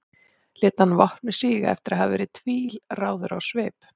lét hann vopnið síga eftir að hafa verið tvílráður á svip